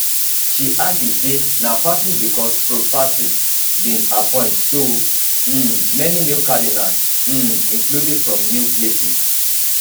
she argue say na partly becos pope francis bin appoint so um many new cardinals um including from new places